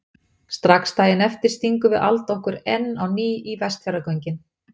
Strax daginn eftir stingum við Alda okkur enn á ný í Vestfjarðagöngin.